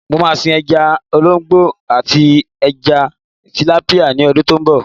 Mo máa sin ẹja olóńgbò àti ẹja tìlápíà ní ọdún tó ń bọ̀.